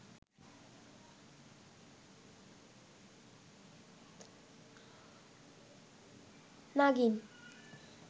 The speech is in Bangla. নাগিন